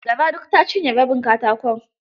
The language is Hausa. Gara duk ta ciny rabin katakon.